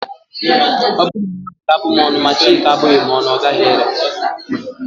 Ọ bụrụ na mmadụ ga-abụ m ọnụ, ma Chineke abụghị m ọnụ, ọ gaghị ere